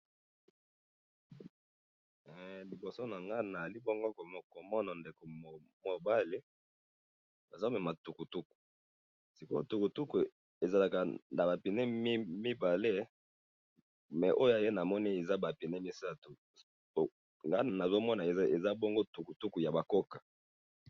Liboso na nga ,nazali bongo komona ndeko mobali azo mema tukutuku siko oyo tukutuku ezalaka na ba pneus mibale mais oyo ya ye eza ba pneus misatu nga nazo mona eza bongo tukutuku ya ba koka